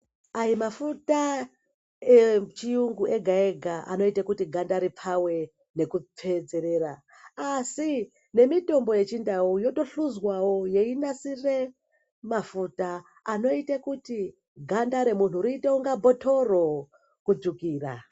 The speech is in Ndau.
Ai mafuta echirungu ega ega anoita kuti ganda ripfawe kutsvedzeredza asi nemitombo yechindau yotohluzwawo yeinasira mafuta anoita kuti ganda remuntu riite kunge bhotoro kutsvukira.